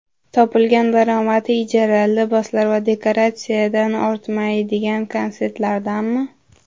Topilgan daromadi ijara, liboslar va dekoratsiyadan ortmaydigan konsertlardanmi?